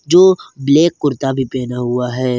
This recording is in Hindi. जो ब्लैक कुर्ता भी पहना हुआ है।